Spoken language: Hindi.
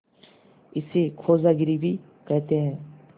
इसे खोजागिरी भी कहते हैं